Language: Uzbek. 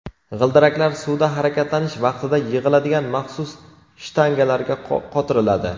G‘ildiraklar suvda harakatlanish vaqtida yig‘iladigan maxsus shtangalarga qotiriladi.